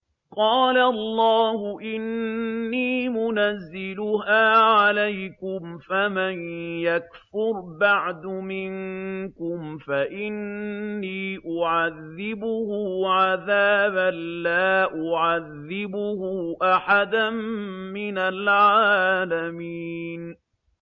قَالَ اللَّهُ إِنِّي مُنَزِّلُهَا عَلَيْكُمْ ۖ فَمَن يَكْفُرْ بَعْدُ مِنكُمْ فَإِنِّي أُعَذِّبُهُ عَذَابًا لَّا أُعَذِّبُهُ أَحَدًا مِّنَ الْعَالَمِينَ